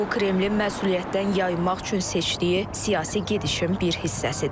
Bu Kremlin məsuliyyətdən yayınmaq üçün seçdiyi siyasi gedişin bir hissəsidir.